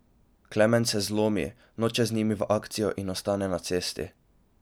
Klemen se zlomi, noče z njimi v akcijo in ostane na cesti.